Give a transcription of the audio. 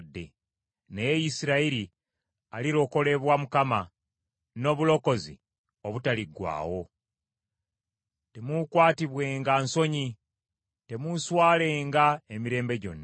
Naye Isirayiri alirokolebwa Mukama n’obulokozi obutaliggwaawo. Temuukwatibwenga nsonyi, temuuswalenga emirembe gyonna.